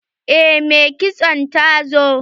Eh mai kitson ta zo.